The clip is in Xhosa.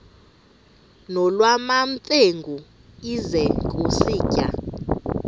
nolwamamfengu ize kusitiya